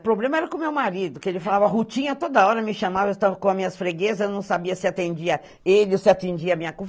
O problema era com meu marido, que ele falava rutinha toda hora, me chamava, eu estava com as minhas freguesas, não sabia se atendia a ele ou se atendia a minha.